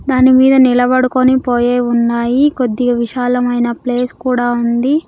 దాని మీద నిలబడుకొని పోయే ఉన్నాయి కొద్దిగా విశాలమైన ప్లేస్ కూడా ఉంది.